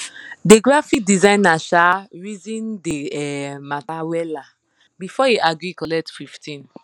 the graphic designer um reason the um matter weller before e agree collect fifteen